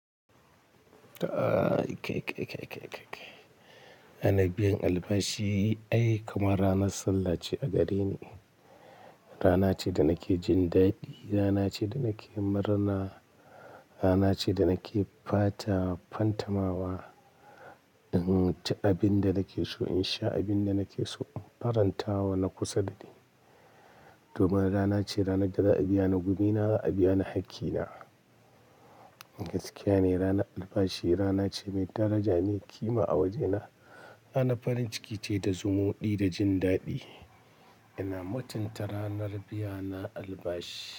Ta ai kai, kai, kai, kai, kai, kai. Ranar biyan albashi ai kamar ranar sallah ce a gareni. Rana ce da nake jin daɗi. Rana ce da nake murna. Rana ce da nake fata fantamawa. In ci abin da nake so, in sha abin da nake so, in faranta wa na kusa da ni. Domin rana ce, ranar da za a biya ni gumi na, za a biya ni haƙƙina. Gaskiya ne, ranar albashi rana ce mai daraja mai ƙima a wajena. Rana farin ciki ce da zumuɗi da jin daɗi. Ina mutunta ranar biya na albashi.